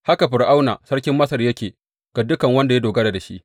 Haka Fir’auna sarkin Masar yake ga dukan wanda ya dogara da shi.